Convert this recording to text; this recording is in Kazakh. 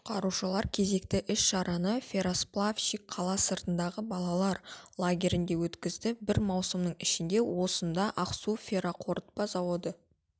құтқарушылар кезекті іс-шараны ферросплавщик қала сыртындағы балалар лагерінде өткізді бір маусымның ішінде осында ақсу ферроқорытпа заводы